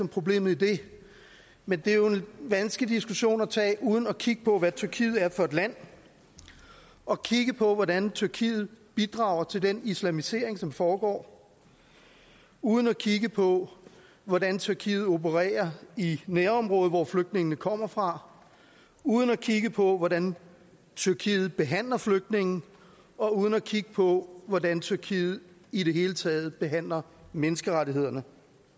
problemet i det men det er jo en vanskelig diskussion at tage uden at kigge på hvad tyrkiet er for et land og kigge på hvordan tyrkiet bidrager til den islamisering som foregår uden at kigge på hvordan tyrkiet opererer i nærområder hvor flygtningene kommer fra uden at kigge på hvordan tyrkiet behandler flygtninge og uden at kigge på hvordan tyrkiet i det hele taget behandler menneskerettighederne